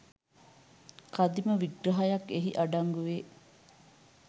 කදිම විග්‍රහයක් එහි අඩංගු වේ